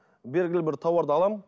белгілі бір тауарды аламын